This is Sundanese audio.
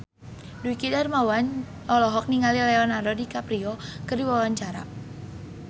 Dwiki Darmawan olohok ningali Leonardo DiCaprio keur diwawancara